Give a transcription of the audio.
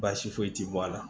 Baasi foyi ti bɔ a la